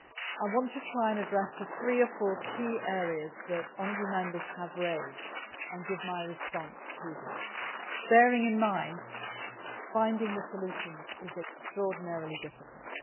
I want to try to address three or four key areas that honourable Members have raised and give my response to them, while bearing in mind that finding solutions is extraordinarily difficult.